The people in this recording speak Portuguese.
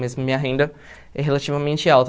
Mas minha renda é relativamente alta.